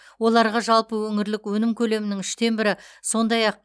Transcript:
оларға жалпы өңірлік өнім көлемінің үштен бірі сондай ақ